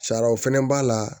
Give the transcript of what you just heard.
Sariyaw fɛnɛ b'a la